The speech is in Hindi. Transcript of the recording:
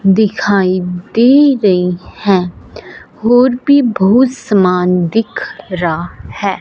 दिखाई दे रही हैं और भी बहुत सामान दिख रा है।